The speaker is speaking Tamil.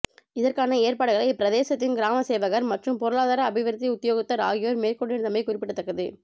இதற்கான ஏற்பாடுகளை இப்பிரதேசத்தின் கிராமசேவகர் மற்றும் பொருளாதார அபிவிருத்தி உத்தியோகத்தர் ஆகியோர் மேற்கொண்டிருந்தமை குறிப்பிடத்தக்கது